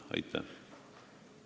Aitäh!